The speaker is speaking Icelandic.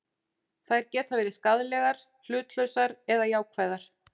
Þær geta verið skaðlegar, hlutlausar eða jákvæðar.